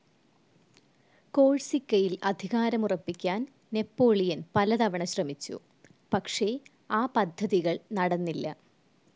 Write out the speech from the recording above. കോഴ്സിക്കയിൽ അധികാരമുറപ്പിക്കാൻ നാപ്പോളിയൻ പലതവണ ശ്രമിച്ചു പക്ഷേ ആ പദ്ധതികൾ നടന്നില്ല.